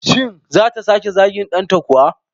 Shin zata sake zagin danta kuwa?